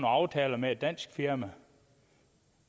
aftaler med et dansk firma